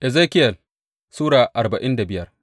Ezekiyel Sura arba'in da biyar